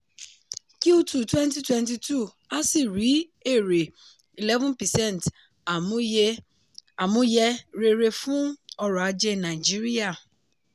q two twenty twenty two asi rí èrè eleven percent àmúyẹ rere fún ọrọ̀ ajé nàìjíríà.